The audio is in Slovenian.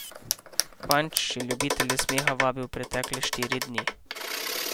Panč je ljubitelje smeha vabil pretekle štiri dni.